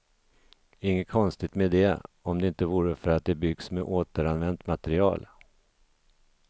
Inget konstigt med det, om det inte vore för att det byggs med återanvänt material.